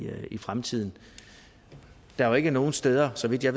fremtiden der er jo ikke nogen steder så vidt jeg